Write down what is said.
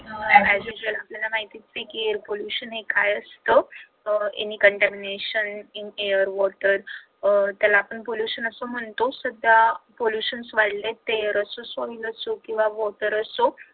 as usual आपल्याला माहित आहे कि air pollution हे काय असत any condemnation in air water अह त्याला आपण pollution असं म्हणतो, सध्या pollution वाढलेत ते कसं solve होईल ते air pollution किंवा water असो